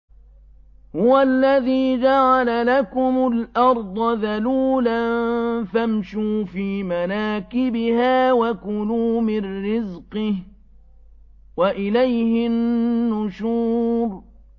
هُوَ الَّذِي جَعَلَ لَكُمُ الْأَرْضَ ذَلُولًا فَامْشُوا فِي مَنَاكِبِهَا وَكُلُوا مِن رِّزْقِهِ ۖ وَإِلَيْهِ النُّشُورُ